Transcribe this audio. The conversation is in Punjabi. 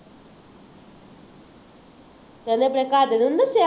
ਅਤੇ ਇਹਨੇ ਆਪਣੇ ਘਰਦਿਆਂ ਨੂੰ ਨਹੀਂ ਦੱਸਿਆ,